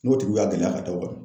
N'o tigiw y'a gɛlɛya ka d'aw kan